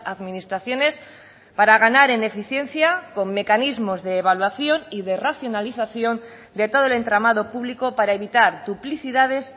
administraciones para ganar en eficiencia con mecanismos de evaluación y de racionalización de todo el entramado público para evitar duplicidades